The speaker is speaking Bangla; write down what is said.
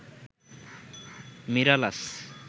মিরালাস